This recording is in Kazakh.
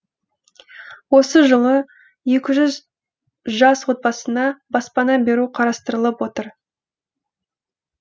осы жылы екі жүз жас отбасына баспана беру қарастырылып отыр